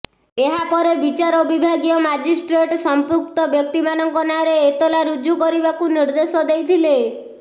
ଏହାପରେ ବିଚାରବିଭାଗୀୟ ମାଜିଷ୍ଟ୍ରେଟ ସଂପୃକ୍ତ ବ୍ୟକ୍ତିମାନଙ୍କ ନାଆଁରେ ଏତଲା ରୁଜ୍ଜୁ କରିବାକୁ ନିର୍ଦ୍ଦେଶ ଦେଇଥିଲେ